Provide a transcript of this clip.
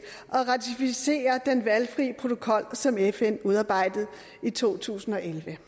og ratificerer den valgfri protokol til som fn udarbejdede i to tusind og elleve